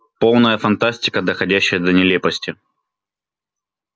полная фантастика доходящая до нелепости